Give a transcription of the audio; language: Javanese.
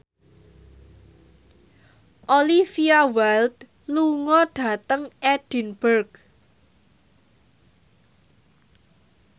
Olivia Wilde lunga dhateng Edinburgh